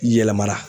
Yɛlɛmara